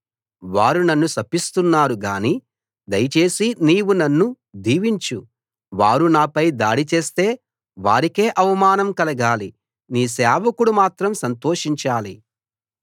వారు నన్ను శపిస్తున్నారు గానీ దయచేసి నీవు నన్ను దీవించు వారు నాపై దాడి చేస్తే వారికే అవమానం కలగాలి నీ సేవకుడు మాత్రం సంతోషించాలి